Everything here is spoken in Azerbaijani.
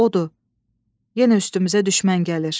Odur, yenə üstümüzə düşmən gəlir.